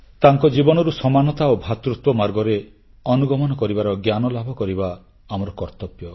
ତାଙ୍କ ଜୀବନରୁ ସମାନତା ଓ ଭ୍ରାତୃତ୍ୱ ମାର୍ଗରେ ଅନୁଗମନ କରିବାର ଜ୍ଞାନଲାଭ କରିବା ଆମର କର୍ତ୍ତବ୍ୟ